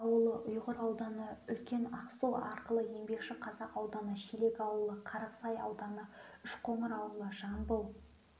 ауылы ұйғыр ауданы үлкен ақсу ауылы еңбекшіқазақ ауданы шелек ауылы қарасай ауданы үшқоңыр ауылы жамбыл